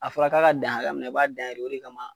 A fɔra k'a ka dan hakɛ mina i b'a dan yen de o de kama